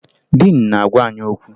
Diin na-agwa anyị okwu